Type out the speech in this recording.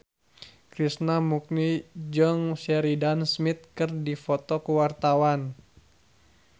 Krishna Mukti jeung Sheridan Smith keur dipoto ku wartawan